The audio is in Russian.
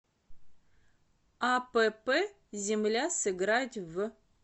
апп земля сыграть в